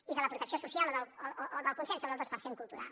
i de la protecció social o del consens sobre el dos per cent cultural